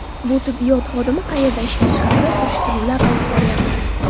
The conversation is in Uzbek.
Bu tibbiyot xodimi qayerda ishlashi haqida surishtiruvlar olib boryapmiz.